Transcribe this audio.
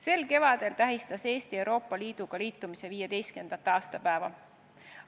Sel kevadel tähistas Eesti Euroopa Liiduga liitumise 15. aastapäeva.